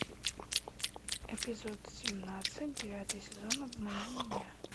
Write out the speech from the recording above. эпизод семнадцать девятый сезон обмани меня